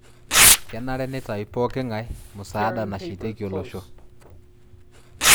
Kenare nitau pooki ng'ae musaada nashetieki olosho